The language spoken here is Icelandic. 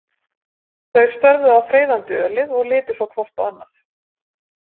Þau störðu á freyðandi ölið og litu svo hvort á annað.